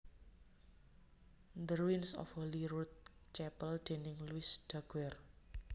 The Ruins of Holyrood Chapel déning Louis Daguerre